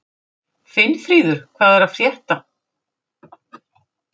Finnfríður, hvað er að frétta?